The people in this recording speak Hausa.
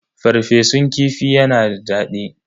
Farfesun kifi yana da daɗi.